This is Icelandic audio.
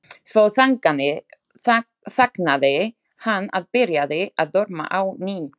Svo þagnaði hann og byrjaði að dorma á ný.